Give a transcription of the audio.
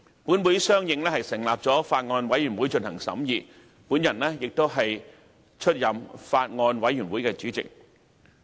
本會相應成立法案委員會進行審議，而我亦出任該法案委員會主席。